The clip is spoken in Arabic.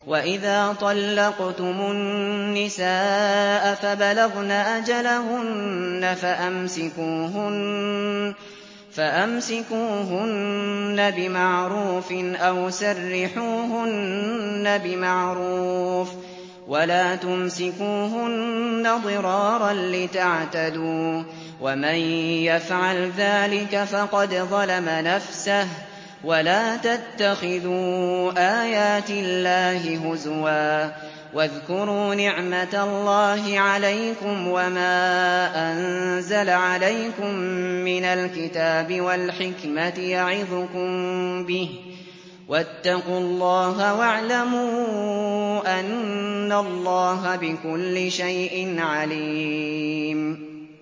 وَإِذَا طَلَّقْتُمُ النِّسَاءَ فَبَلَغْنَ أَجَلَهُنَّ فَأَمْسِكُوهُنَّ بِمَعْرُوفٍ أَوْ سَرِّحُوهُنَّ بِمَعْرُوفٍ ۚ وَلَا تُمْسِكُوهُنَّ ضِرَارًا لِّتَعْتَدُوا ۚ وَمَن يَفْعَلْ ذَٰلِكَ فَقَدْ ظَلَمَ نَفْسَهُ ۚ وَلَا تَتَّخِذُوا آيَاتِ اللَّهِ هُزُوًا ۚ وَاذْكُرُوا نِعْمَتَ اللَّهِ عَلَيْكُمْ وَمَا أَنزَلَ عَلَيْكُم مِّنَ الْكِتَابِ وَالْحِكْمَةِ يَعِظُكُم بِهِ ۚ وَاتَّقُوا اللَّهَ وَاعْلَمُوا أَنَّ اللَّهَ بِكُلِّ شَيْءٍ عَلِيمٌ